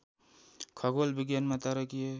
खगोल विज्ञानमा तारकीय